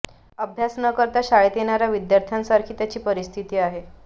अभ्यास न करता शाळेत येणाऱ्या विद्यार्थ्यांसारखी त्यांची परिस्थिती आहे